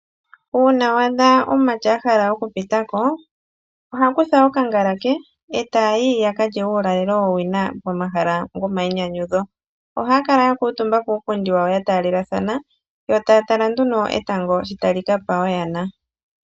Uuna wa adha omumati a hala okupita ko, oha kutha okangala ke e taa yi ya ka lye uulalelo wowina pomahala gomainyanyudho. Ohaya kala ya kuutumba kuupundi wawo ya taalelathana yo taya tala nduno etango shi tali ka pa oyana.